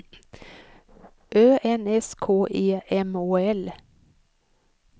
Ö N S K E M Å L